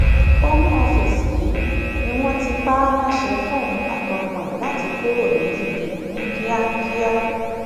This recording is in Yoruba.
home office yìí ni wọn ti pa á láṣẹ fóun àtọmọ ẹ láti kúrò ní uk ní kíákíá